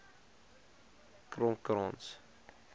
kromkrans